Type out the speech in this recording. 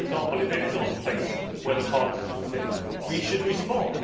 If, for example, it is on the place where Parliament should sit, we should respond.